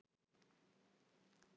Hér eftir vil ég ekki skipta um lið.